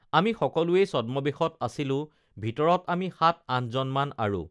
আমি সকলোৱেই ছদ্মবেশত আছিলোঁ ভিতৰত আমি সাতআঠজনমান আৰু